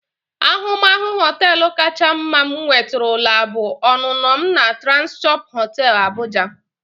Ahụmahụ họteelu kacha mma m nwetụrụla bụ ọnụnọ m na Transcorp hotel Abuja.